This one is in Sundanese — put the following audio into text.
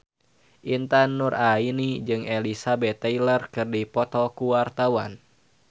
Intan Nuraini jeung Elizabeth Taylor keur dipoto ku wartawan